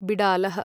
बिडालः